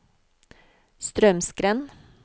Straumsgrend